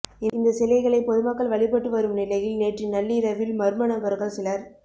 இந்த சிலைகளை பொதுமக்கள் வழிபட்டு வரும் நிலையில் நேற்று நள்ளிரவில் மர்மநபர்கள் சிலர்